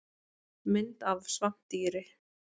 Mynd af svampdýri.